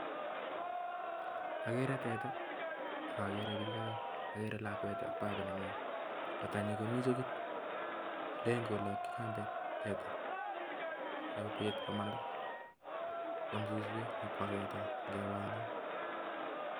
Ageree teta AK ageree piik aek kotanyi komiii chogit Len kolakyki kambet sigopit kwamat suswek ako wendot Eng kewanin